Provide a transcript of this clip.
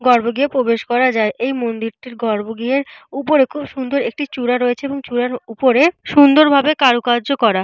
গর্ভগৃহে প্রবেশ করা যায়। এই মন্দিরটির গর্ভগৃহের উপরে খুব সুন্দর একটি চূড়া রয়েছে। এবং চূড়ার উপরে সুন্দরভাবে কারুকার্য করা।